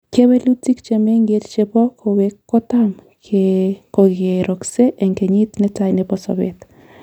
Kewelutik chemengech chebo kowek kotam kokerokse en kenyit netai nebo sobet.